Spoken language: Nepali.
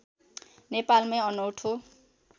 नेपालमै अनौठो